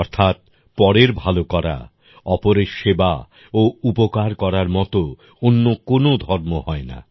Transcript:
অর্থাৎ পরের ভালো করা অপরের সেবা ও উপকার করার মতো অন্য কোনো ধর্ম হয়না